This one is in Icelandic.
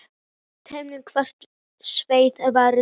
Telma: Hvaða svið verður það?